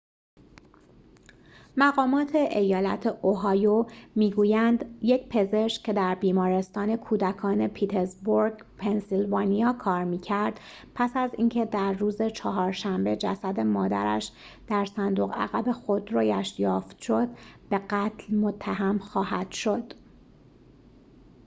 مقامات ایالت اوهایو می گویند یک پزشک که در بیمارستان کودکان پیتزبورگ پنسیلوانیا کار می کرد پس از اینکه در روز چهارشنبه جسد مادرش در صندوق عقب خودرویش یافت شد به قتل متهم خواهد شد